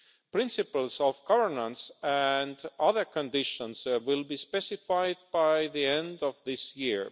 Principles of governance and other conditions will be specified by the end of this year.